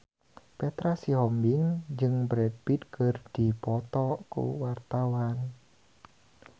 Petra Sihombing jeung Brad Pitt keur dipoto ku wartawan